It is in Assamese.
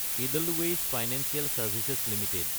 Edelweiss financial services Ltd